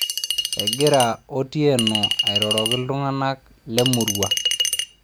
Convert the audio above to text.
egira Otieno airoroki iltunganak lemurua